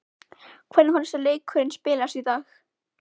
Hvernig fannst þér leikurinn spilast í dag?